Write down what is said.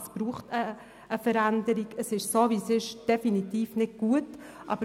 Es braucht eine Veränderung, weil es so wie es ist, nicht gut ist.